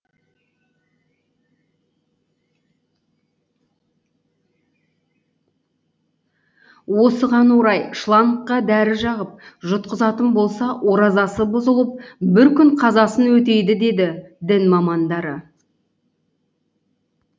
осыған орай шлангқа дәрі жағып жұтқызатын болса оразасы бұзылып бір күн қазасын өтейді дейді дін мамандары